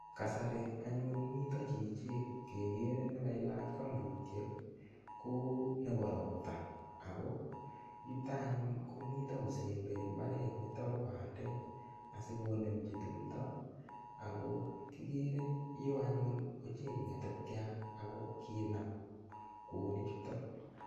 Kasari anyun mito chichi kekere nikailach kambutiek ko nebo ropta ako yuto anyun komito kosemberi mbaret nito bo bandek asikonemchi tumdo ako kikere yo anyun ochei ngetetiat ako kinam kwonik chuto